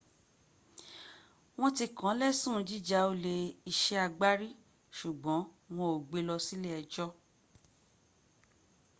wọn ti kàn lẹ́sùn jíja olè iṣé agbárí ṣùgbọ́n wọn o gbé lọ sí ile ẹjọ́